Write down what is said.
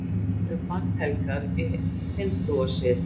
kýr eru bannhelgar í hindúasið